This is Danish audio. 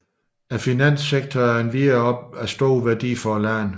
Finanssektoren er endvidere også af stor værdi for landet